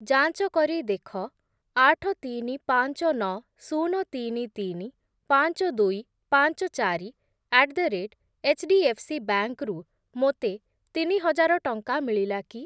ଯାଞ୍ଚ କରି ଦେଖ ଆଠ, ତିନି, ପାଞ୍ଚ, ନଅ, ଶୂନ, ତିନି, ତିନି, ପାଞ୍ଚ, ଦୁଇ, ପାଞ୍ଚ, ଚାରି ଆଟ୍ ଦ ରେଟ୍ ଏଚ୍‌ଡିଏଫ୍‌ସିବ୍ୟାଙ୍କ୍ ରୁ ମୋତେ ତିନିହଜାର ଟଙ୍କା ମିଳିଲା କି?